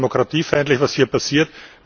Es ist demokratiefeindlich, was hier passiert.